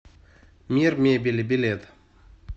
мир мебели билет